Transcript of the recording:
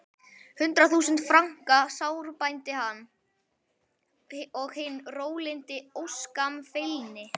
Hundrað þúsund franka sárbændi hann, og hinn rólyndi óskammfeilni